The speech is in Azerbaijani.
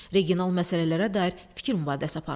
Regional məsələlərə dair fikir mübadiləsi aparıldı.